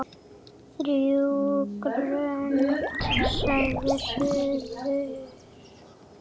Þrjú grönd sagði suður.